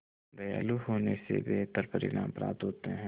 दयालु होने से बेहतर परिणाम प्राप्त होते हैं